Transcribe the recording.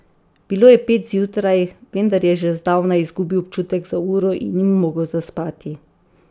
Bilo je pet zjutraj, vendar je že zdavnaj izgubil občutek za uro in ni mogel zaspati.